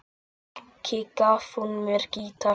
Ekki gaf hún mér gítar.